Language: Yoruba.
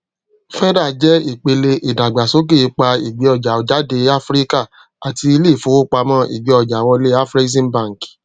feda jẹ ìpele ìdàgbàsókè ipa ìgbéọjàjáde áfíríkà àti ilé ìfowópamọ ìgbéọjàwọlé afreximbank